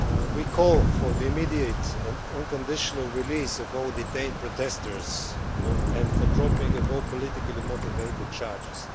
we call for the immediate and unconditional release of all detained protestors and for the dropping of all politically motivated charges.